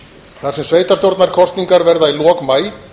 þar sem sveitarstjórnarkosningar verða í lok maí